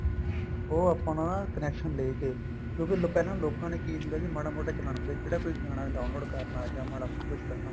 ਉਹ ਆਪਣਾ connection ਲੈ ਕੇ ਕਿਉਂਕਿ ਪਹਿਲਾਂ ਲੋਕਾ ਨੇ ਕੀ ਹੁੰਦਾ ਸੀ ਮਾੜਾ ਮੋਟਾ ਚਲਾਣਾ ਹੁੰਦਾ ਸੀ ਕਿਹੜਾ ਕੋਈ ਗਾਣਾ download ਕਰਨਾ ਜਾਂ ਮਾੜਾ ਕੁੱਝ ਕਰਨਾ